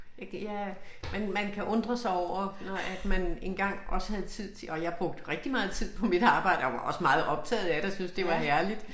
Jeg kan jeg man man kan undre sig over når at man engang også havde tid til og jeg brugte rigtig meget tid på mit arbejde og jeg var også meget optaget af det og syntes det var herligt